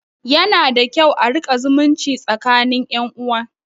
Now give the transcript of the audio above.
Yana da kyau a riƙa zumunci tsakinin ƴan uwa